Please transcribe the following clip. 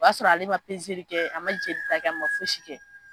O y'a sɔrɔ ale ma pezeli kɛ, a ma jelita kɛ ma fosi kɛ.